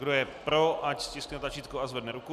Kdo je pro, ať stiskne tlačítko a zvedne ruku.